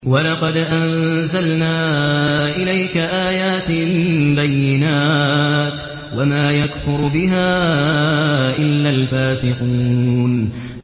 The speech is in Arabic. وَلَقَدْ أَنزَلْنَا إِلَيْكَ آيَاتٍ بَيِّنَاتٍ ۖ وَمَا يَكْفُرُ بِهَا إِلَّا الْفَاسِقُونَ